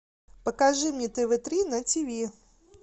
покажи мне тв три на тв